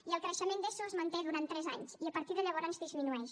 i el creixement d’eso es manté durant tres anys i a partir de llavors disminueix